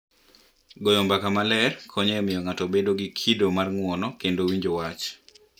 Goro mbaka maler konyo e miyo ng’ato obed gi kido mar ng’uono kendo winjo wach.